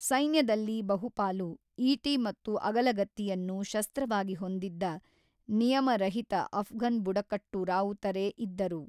ಸೈನ್ಯದಲ್ಲಿ ಬಹುಪಾಲು, ಈಟಿ ಮತ್ತು ಅಗಲಗತ್ತಿಯನ್ನು ಶಸ್ತ್ರವಾಗಿ ಹೊಂದಿದ್ದ ನಿಯಮರಹಿತ ಅಫ್ಘನ್‌ ಬುಡಕಟ್ಟು ರಾವುತರೇ ಇದ್ದರು.